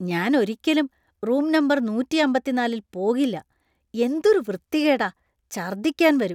ഞാൻ ഒരിക്കലും room number നൂറ്റി അമ്പത്തി നാലിൽ പോകില്ല , എന്തൊരു വൃത്തികേടാ , ഛർദ്ദിക്കാൻ വരും.